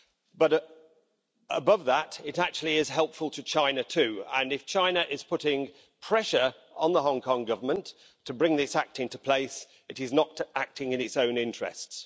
But above that, it is actually helpful to China too, and if China is putting pressure on the Hong Kong Government to bring this act into place it is not acting in its own interests.